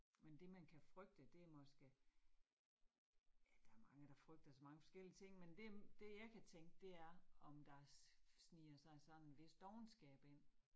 Men det man kan frygte, det måske. Ja, der mange, der frygter så mange forskellige ting, men det det jeg kan tænke det er, om der sniger sig sådan hvis dovenskab ind